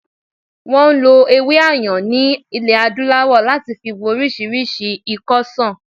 Wọn ń lo ewé Ayan ni ilẹ̀ adúláwò láti fi wo orísìírísìí ikọ́ ṣàn